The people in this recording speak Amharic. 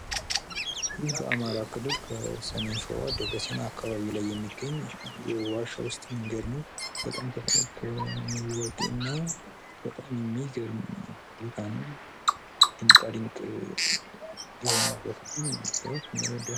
በአማራ ክልል ከሰሜን ሸዋ ደብረ ሲና የሚገኝ የዋሻ ውስጥ መንገድ ነው። በጣም የሚገርም እና ደስ የሚል መንገድ ነው።